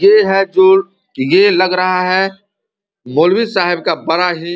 ये है जो ये लग रहा है मौलवी साहब का बड़ा ही --